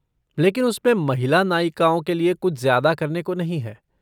लेकिन उसमें महिला नायिकाओं के लिए कुछ ज्यादा करने को नहीं है।